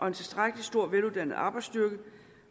en tilstrækkelig stor og veluddannet arbejdsstyrke